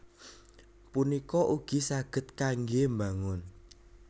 punika ugi saged kanggé mbangun